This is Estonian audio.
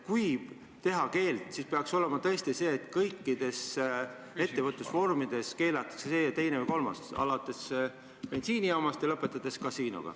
Kui kehtestada keeld, siis peaks olema tõesti nii, et see, teine või kolmas asi keelatakse kõigis ettevõtlusvormides, alates bensiinijaamast ja lõpetades kasiinoga.